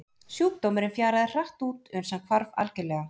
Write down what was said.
Sjúkdómurinn fjaraði hratt út uns hann hvarf algjörlega.